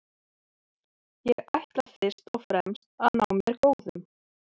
Ég ætla fyrst og fremst að ná mér góðum.